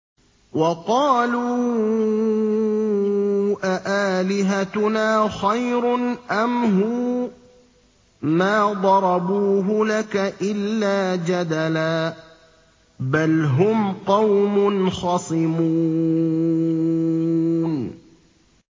وَقَالُوا أَآلِهَتُنَا خَيْرٌ أَمْ هُوَ ۚ مَا ضَرَبُوهُ لَكَ إِلَّا جَدَلًا ۚ بَلْ هُمْ قَوْمٌ خَصِمُونَ